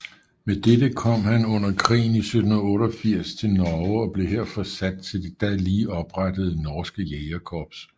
Med dette kom han under krigen 1788 til Norge og blev her forsat til det da lige oprettede Norske Jægerkorps